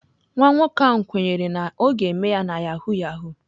Nwa nwoke ahụ kwenyere na ọ ga-eme ya na yahoo yahoo.